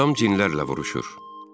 Atam cinlərlə vuruşur.